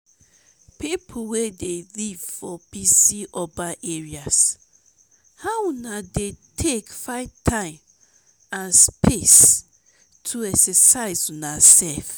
people wey dey live for busy urban areas how una dey take find time and space to exercise una self?